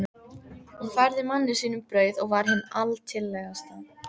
Hún færði manni sínum brauð og var hin altillegasta.